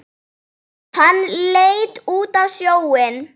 Hann leit út á sjóinn.